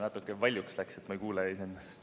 Natuke valjuks läks, ma ei kuule iseennast.